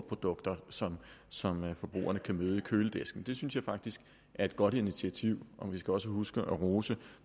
produkter som som forbrugerne kan møde i køledisken det synes jeg faktisk er et godt initiativ og vi skal også huske at rose